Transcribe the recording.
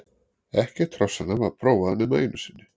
Ekkert hrossanna var prófað nema einu sinni.